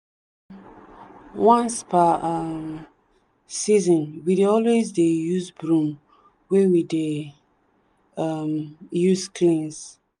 once per um season we dey always dey use broom wey we dey um use cleans.